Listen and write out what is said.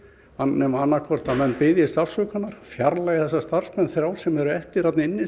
nema annað hvort að menn biðjist afsökunar fjarlægi þessa starfsmenn þrjá sem eru eftir þarna inni